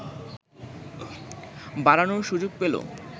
বাড়ানোর সুযোগ পেল